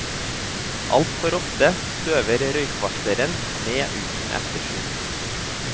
Altfor ofte støver røykvarsleren ned uten ettersyn.